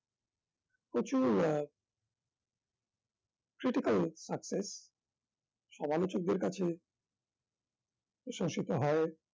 প্রচুর আহ critical সমালোচকদের কাছে প্রশংসিত হয়